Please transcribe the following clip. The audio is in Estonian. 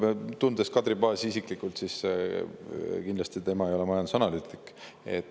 Esiteks, tundes Kadri Paasi isiklikult, tema ei ole kindlasti majandusanalüütik.